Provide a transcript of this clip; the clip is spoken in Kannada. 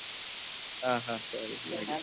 ಹ ಹ ಸರಿ ಸರಿ.